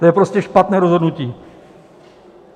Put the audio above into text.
To je prostě špatné rozhodnutí.